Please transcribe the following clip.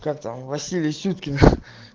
как там василий сюткин